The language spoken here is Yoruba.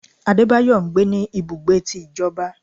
Adébáyọ ńgbé ní ibùgbé tí ìjọba.